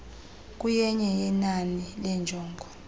kuyenye yenani leenjongo